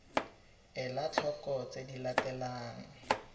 ela tlhoko tse di latelang